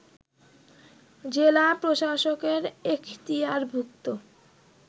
জেলা প্রশাসকের এখতিয়ারভুক্ত